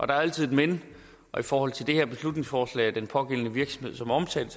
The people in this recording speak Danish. der er altid et men og i forhold til det her beslutningsforslag og den pågældende virksomhed som er omtalt